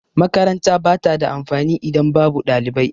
Makaranta ba ta da amfani idan babu ɗalibai.